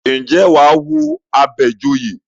Ǹjẹ́ wà á wo Àbẹ̀joyè?